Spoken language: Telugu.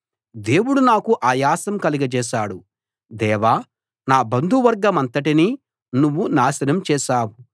దేవుడు నాకు ఆయాసం కలగజేశాడు దేవా నా బంధువర్గమంతటినీ నువ్వు నాశనం చేశావు